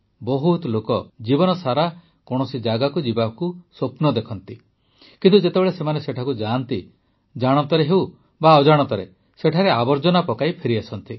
ବହୁତ ଲୋକ ଜୀବନସାରା କୌଣସି ଜାଗାକୁ ଯିବାକୁ ସ୍ୱପ୍ନ ଦେଖନ୍ତି କିନ୍ତୁ ଯେତେବେଳେ ସେମାନେ ସେଠିକୁ ଯାଆନ୍ତି ଜାଣତ ଅଜାଣତରେ ସେଠାରେ ଆବର୍ଜନା ପକାଇ ଫେରିଆସନ୍ତି